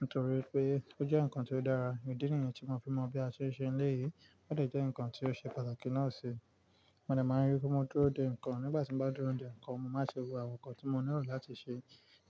Nítorí pé ó jẹ́ ǹkan ti ó dára, ìdí nìyẹn tí mo fi mọ̀ bí a ṣe n ṣe eléyìí, ó lè jẹ́ ǹkan tí ó ṣe pàtàkì náà si. Mo dẹ máa rí pe mo dúró de ǹkan, nígbà tí mo bá dúró de ǹkan, mo máa n ṣe gbogbo àwọn ǹkan tí mo nílò láti ṣe,